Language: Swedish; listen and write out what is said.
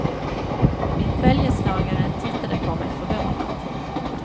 Min följeslagare tittade på mig förvånat.